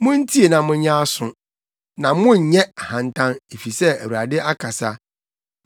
Muntie na monyɛ aso, na monnyɛ ahantan, efisɛ Awurade akasa.